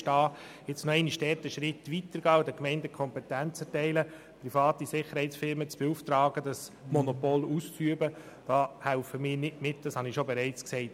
Nun noch einen Schritt weiter zu gehen und den Gemeinden die Kompetenz zu erteilen, private Sicherheitsfirmen beauftragen zu können, dieses Monopol auszuüben, da helfen wir nicht mit, ich habe es bereits gesagt.